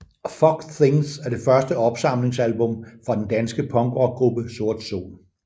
Fog Things er det første opsamlingsalbum fra den danske punkrockgruppe Sort Sol